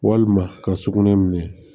Walima ka sugunɛ minɛ